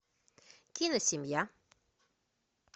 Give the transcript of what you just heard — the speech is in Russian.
кино семья